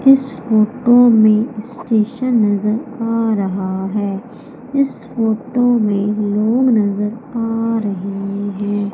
इस फोटो में स्टेशन नजर आ रहा है इस फोटो में लोग नजर आ रहे है।